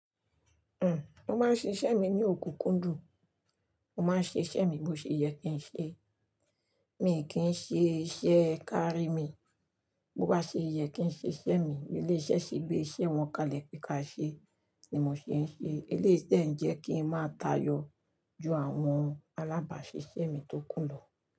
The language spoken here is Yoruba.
Uhm, mo máa ń ṣíṣe mi ní òkùnkùndù. Mo máa ń ṣe iṣẹ́ mi bó ṣe yẹ kí n ṣe. Mí kì í ṣe iṣẹ́ kárí mi. Bo bá ṣe yẹ kí n ṣe iṣẹ́ mi, ilé-iṣẹ́ sì gbé iṣẹ́ wọn kalẹ̀ pé ka ṣe ni mo ṣe ń ṣe. Iléyi de ń jẹ́ kí ń máa tayọ ju àwọn alábàáṣiṣẹ́ mi tó kù lọ.